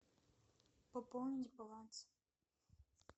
пополнить баланс